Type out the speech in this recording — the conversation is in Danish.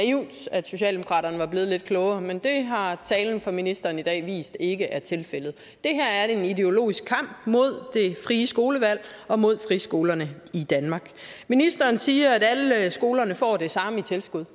at socialdemokraterne var blevet lidt klogere men det har talen fra ministeren i dag vist ikke er tilfældet det her er en ideologisk kamp mod det frie skolevalg og mod friskolerne i danmark ministeren siger at alle skolerne får det samme i tilskud